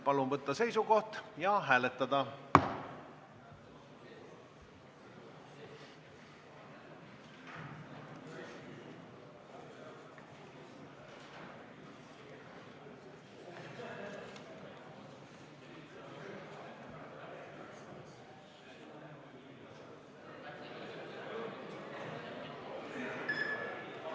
Palun võtta seisukoht ja hääletada!